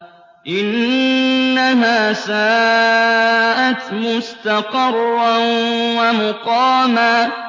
إِنَّهَا سَاءَتْ مُسْتَقَرًّا وَمُقَامًا